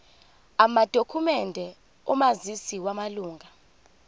amadokhumende omazisi wamalunga